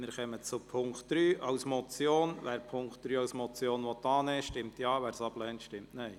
Wer den Punkt 3 als Motion annehmen will, stimmt Ja, wer dies ablehnt, stimmt Nein.